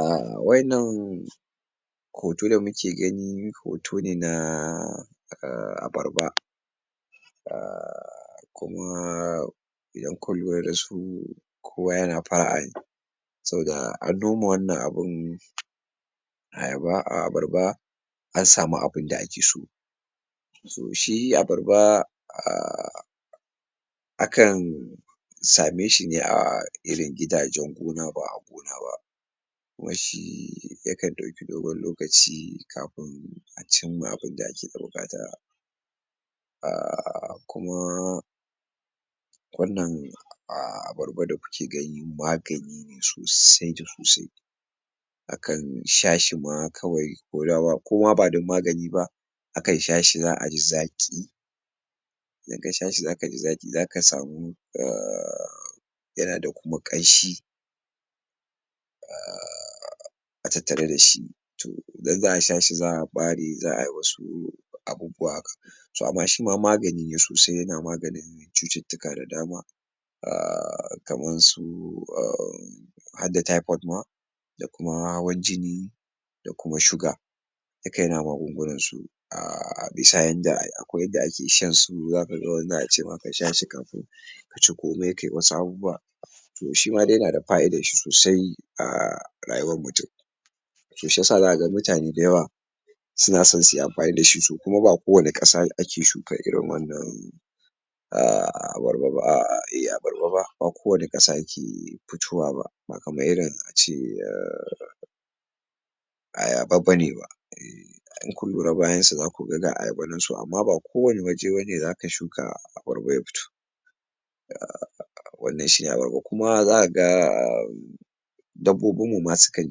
ah waddannan hoto da muke gani hoto ne na ah abarba ah kuma idan kun lura dasu kowa yana fara'a ne saboda an noma wannan abun ayaba ah abarba an samu abinda akeso so shi abarba ahh akan same shi ne a irin gidajen gona ba gona ba kuma shi yakan dauki dogon lokaci kafin a cimma abinda ake da bukata ah kuma wannan ah abarba da kuke gani magani ne sosai da sosai akan shashi ma kawai koma badan magani ba akan shashi za'aji zaki inka shashi zakaji zaki zaka samu ahh yana da kuma kanshi ah a tattare da shi to idan za'a shashi za'a bare za'ayi wasu abubuwa so amma shima magani ne sosai yana magani chututtika da dama ah kamar su ah harda typot ma da kuma hawan jini da kuma shuga duka yana magungunan su ah bisa yanda akwai yanda ake shansu zakaga wani za'ace ma kasha shi kafin kaci kome kayi wasu abubuwa to shima dai yana da fa'idar shi sosai a rayuwar mutum to shiyasa zakaga mutane da yawa suna son suyi amfani dashi so kuma ba kowane kasa ake shuka irin wannan ah abarba ba ah eh abarba ba ba kowane kasa ke fitowa ba ba kamar irin ace ayaba bane ba ah in kun lura bayan su zakuga ga ayaba nan to amma ba kowane waje abane zaka shuka ah abarbai ba wannan shine abarba kuma zakaga dabbobin mu ma sukan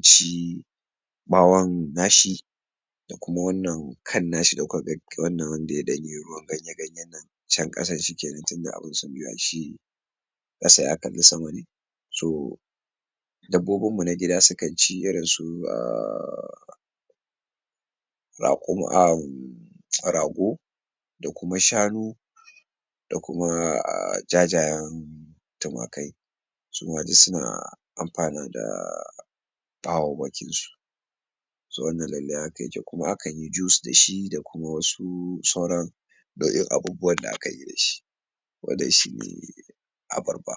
ci bawon nashi da kuma wannan kan nashi wannan wanda yadanyi ruwan ganye ganye nan can kasan shi kenan tunda kasa ya kalli sama ne so dabbobin mu na gida sukanci irin su ah rakum ah rago da kuma shanu da kuma ah jajayen tumakai suma duk suna amfana da bawauwakin su to wannan lallai haka yake kuma akanyi juice dashi da kuma wasu sauran nau'in abubuwan akanyi dashi wannan shine abarba.